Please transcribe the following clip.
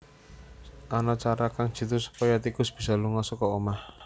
Ana cara kang jitu supaya tikus bisa lunga saka omah